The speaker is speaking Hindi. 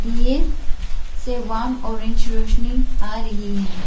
दिए से वॉर्म ऑरेंज रौशनी आ रही है।